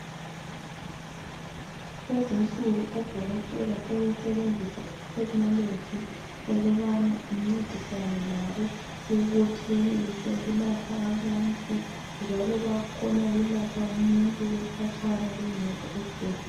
Lezinsuku odokotela sebesebenzisa ithekhinoloji ukubana incedisane labo ukuthi benelise ukulapha abantu, njalo bakukhona ukulapha umuntu bekhatshana bengekho esbhedle ...